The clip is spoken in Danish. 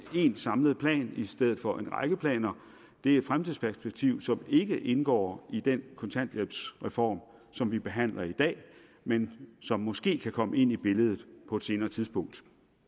én samlet plan i stedet for en række planer er et fremtidsperspektiv som ikke indgår i den kontanthjælpsreform som vi behandler i dag men som måske kan komme ind i billedet på et senere tidspunkt